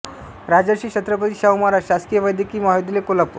राजर्षी छत्रपती शाहू महाराज शासकीय वैद्यकीय महाविद्यालय कोल्हापूर